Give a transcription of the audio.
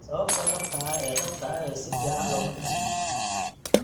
Sababta dhabta ah ee dhabta ah si fiican looma fahmin.